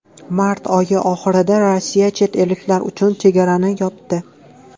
Mart oyi oxirida Rossiya chet elliklar uchun chegarani yopdi.